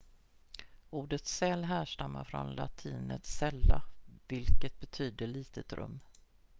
ordet cell härstammar från latinets cella vilket betyder litet rum